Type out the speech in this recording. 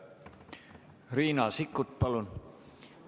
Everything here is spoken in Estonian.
Riina Sikkut, palun!